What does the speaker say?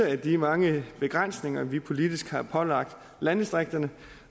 af de mange begrænsninger vi politisk har pålagt landdistrikterne